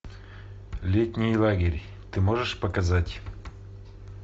летний лагерь ты можешь показать